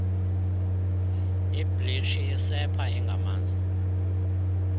ibleach isepha engamanzi